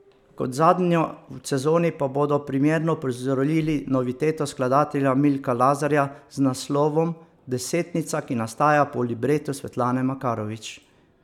Kot zadnjo v sezoni pa bodo premierno uprizorili noviteto skladatelja Milka Lazarja z naslovom Desetnica, ki nastaja po libretu Svetlane Makarovič.